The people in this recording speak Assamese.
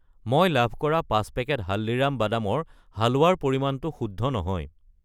মই লাভ কৰা 5 পেকেট হালদিৰাম বাদামৰ হালৱা ৰ পৰিমাণটো শুদ্ধ নহয়।